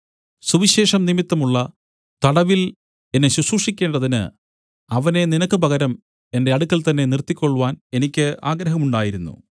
സുവിശേഷം നിമിത്തമുള്ള തടവിൽ എന്നെ ശുശ്രൂഷിക്കേണ്ടതിന് അവനെ നിനക്ക് പകരം എന്റെ അടുക്കൽ തന്നെ നിർത്തിക്കൊൾവാൻ എനിക്ക് ആഗ്രഹമുണ്ടായിരുന്നു